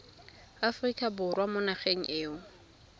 aforika borwa mo nageng eo